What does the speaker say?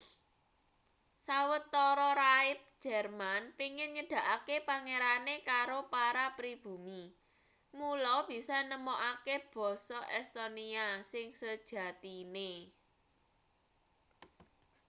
sawetara rahib jerman pengin nyedhakake pangerane karo para pribumi mula bisa nemokake basa estonia sing sejatine